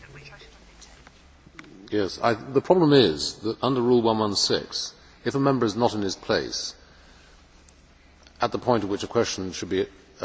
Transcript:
The problem is that, under Rule 116, if a Member is not in his place at the point at which a question should be replied to, then the question lapses.